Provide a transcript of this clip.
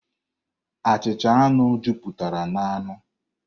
Achịcha anu jupụtara n'anụ.